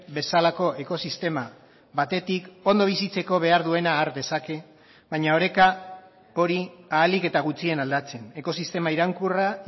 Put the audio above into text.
bezalako ekosistema batetik ondo bizitzeko behar duena har dezake baina oreka hori ahalik eta gutxien aldatzen ekosistema iraunkorra